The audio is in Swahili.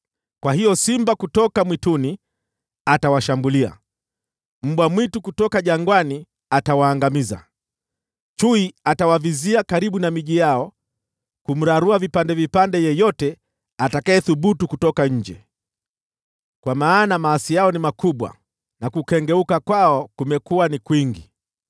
Kwa hiyo simba kutoka mwituni atawashambulia, mbwa mwitu kutoka jangwani atawaangamiza, chui atawavizia karibu na miji yao, ili kumrarua vipande vipande yeyote atakayethubutu kutoka nje, kwa maana maasi yao ni makubwa, na kukengeuka kwao kumekuwa ni kwingi.